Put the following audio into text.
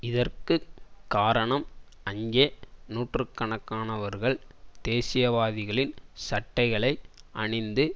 இதற்கு காரணம் அங்கே நூற்று கணக்கானவர்கள் தேசியவாதிகளின் சட்டைகளை அணிந்து